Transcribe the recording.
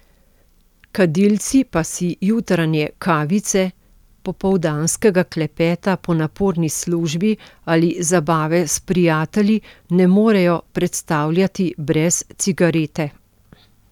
Kadilci pa si jutranje kavice, popoldanskega klepeta po naporni službi ali zabave s prijatelji ne morejo predstavljati brez cigarete.